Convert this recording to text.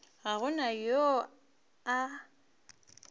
ga go na yo a